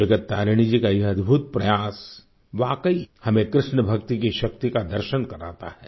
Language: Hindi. जगत तारिणी जी का यह अद्भुत प्रयास वाकई हमें कृष्ण भक्ति की शक्ति का दर्शन कराता है